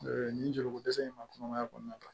nin joli ko dɛsɛ in ma kɔnɔmaya kɔnɔna na